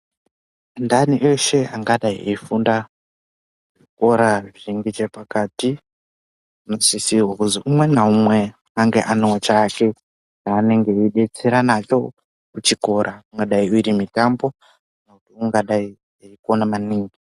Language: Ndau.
Anthani eshe angadayi eifunda zvikora zviri ngechepakati anosisirwe kuzi umwe naumwe ange anewo chake chaanenge aidetsera nacho kuchikora ingadyi iri mitambo kana kuti ungadayi eikona maningi.